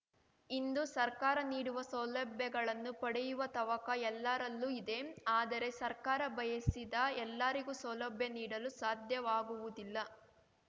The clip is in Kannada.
ಇಂದು ಸರ್ಕಾರ ನೀಡುವ ಸೌಲಭ್ಯಗಳನ್ನು ಪಡೆಯುವ ತವಕ ಎಲ್ಲರಲ್ಲೂ ಇದೆ ಆದರೆ ಸರ್ಕಾರ ಬಯಸಿದ ಎಲ್ಲರಿಗೂ ಸೌಲಭ್ಯ ನೀಡಲು ಸಾಧ್ಯವಾಗುವುದಿಲ್ಲ